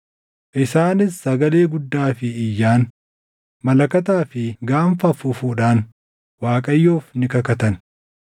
Isaanis sagalee guddaa fi iyyaan, malakataa fi gaanfa afuufuudhaan Waaqayyoof ni kakatan.